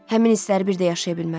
Həmin hissləri bir də yaşaya bilmərəm.